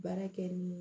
Baara kɛ ni